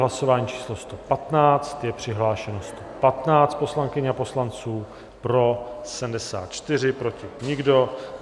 Hlasování číslo 115, je přihlášeno 115 poslankyň a poslanců, pro 74, proti nikdo.